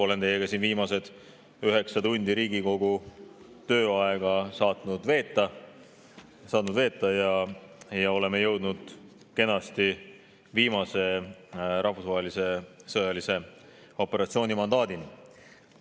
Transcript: Olen teiega saanud siin viimased üheksa tundi Riigikogu tööaega veeta ja oleme jõudnud kenasti viimase rahvusvahelise sõjalise operatsiooni mandaadini.